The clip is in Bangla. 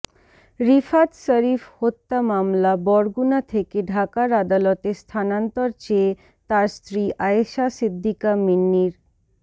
রিফাত শরীফ হত্যা মামলা বরগুনা থেকে ঢাকার আদালতে স্থানান্তর চেয়ে তার স্ত্রী আয়েশা সিদ্দিকা মিন্নির